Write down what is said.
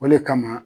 O le kama